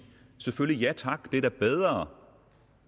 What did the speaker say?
selvfølgelig ja tak det er da bedre